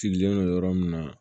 Sigilen don yɔrɔ min na